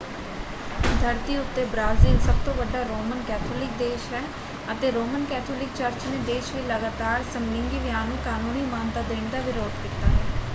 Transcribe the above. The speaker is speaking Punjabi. ਧਰਤੀ ਉੱਤੇ ਬਰਾਜ਼ੀਲ ਸਭਤੋਂ ਵੱਡਾ ਰੋਮਨ ਕੈਥੋਲਿਕ ਦੇਸ਼ ਹੈ ਅਤੇ ਰੋਮਨ ਕੈਥੋਲਿਕ ਚਰਚ ਨੇ ਦੇਸ਼ ਵਿੱਚ ਲਗਾਤਾਰ ਸਮਲਿੰਗੀ ਵਿਆਹ ਨੂੰ ਕਾਨੂੰਨੀ ਮਾਨਤਾ ਦੇਣ ਦਾ ਵਿਰੋਧ ਕੀਤਾ ਹੈ।